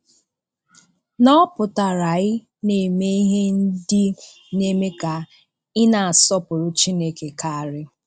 :\nỌ̀ pụtara ị̀ na-eme ihe ndị na-eme ka ị̀ na-asọ̀pụrụ Chínèké karị́.